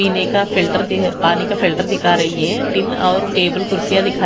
पीने का फिल्टर दी पानी का फिल्टर दिखा रही है टीन और टेबल कुर्सियां दिखा --